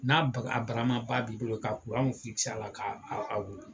N'a baga a baramaba b'i bolo k'a kuranw fikise a la k'a aa a wuli